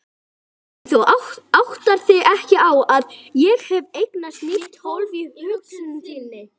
En þú áttar þig ekki á að ég hef eignast nýtt hólf í hugsun þinni.